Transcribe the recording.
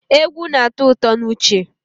Egwu na-atọ ụtọ n'uche